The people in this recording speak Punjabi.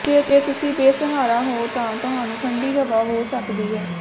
ਜੇ ਤੁਸੀਂ ਬੇਸਹਾਰਾ ਹੋ ਤਾਂ ਤੁਹਾਨੂੰ ਠੰਢੀ ਹਵਾ ਹੋ ਸਕਦੀ ਹੈ